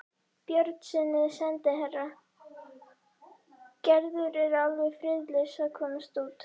Björnssyni sendiherra: Gerður er alveg friðlaus að komast út.